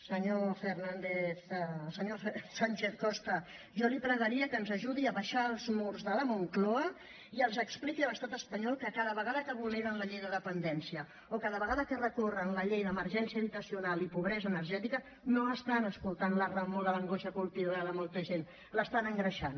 senyor sánchez costa jo li pregaria que ens ajudi a abaixar els murs de la moncloa i els expliqui a l’estat espanyol que cada vegada que vulneren la llei de dependència o cada vegada que recorren la llei d’emergència habitacional i pobresa energètica no estan escoltant la remor de l’angoixa colpidora de molta gent l’estan engreixant